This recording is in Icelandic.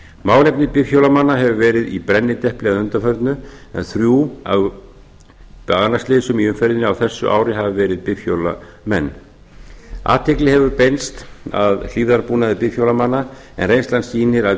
málefni bifhjólamanna hefur verið í brennidepli að undanförnu en þrjú af banaslysum í umferðinni á þessu ári hafa verið bifhjólamenn athygli hefur beinst að hlífðarbúnaði bifhjólamanna en reynslan sýnir að